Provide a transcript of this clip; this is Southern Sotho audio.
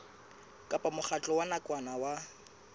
kapa mokgatlo wa nakwana o